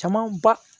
Camanba